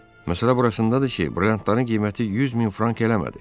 Məsələ burasındadır ki, brilliantların qiyməti 100 min frank eləmədi.